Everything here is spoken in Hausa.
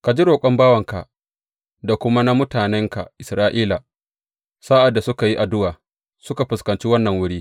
Ka ji roƙon bawanka da kuma na mutanenka Isra’ila sa’ad da suka yi addu’a, suka fuskanci wannan wuri.